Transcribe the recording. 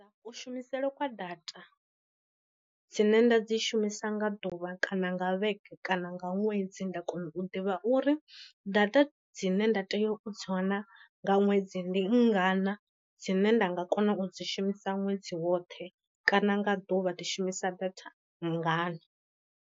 Ku shumisele kwa data dzine nda dzi shumisa nga ḓuvha kana nga vhege kana nga ṅwedzi, nda kona u ḓivha uri data dzine nda tea u dzi wana nga ṅwedzi ndi ngana dzine nda nga kona u dzi shumisa ṅwedzi woṱhe, kana nga ḓuvha ndi shumisa datha ngana.